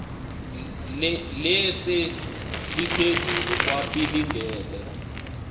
lise liphezulu kwapilingile